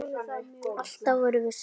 Alltaf vorum við saman.